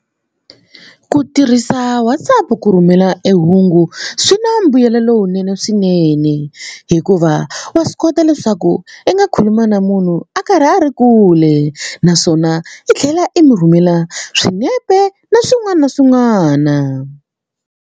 Ku tirhisa WhatsApp ku rhumela e hungu swi na mbuyelo lowunene hikuva wa swi kota leswaku i nga khuluma na munhu a karhi a ri kule naswona i tlhela i mi rhumela swinepe na swin'wana na swin'wana.